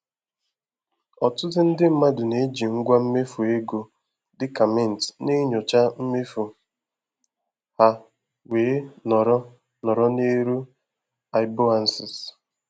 Ọtụtụ ndị mmadụ na-eji ngwa mmefu ego dị ka Mint na-enyocha mmefu ha wee nọrọ nọrọ n'elu iboances.